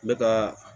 Ne kaa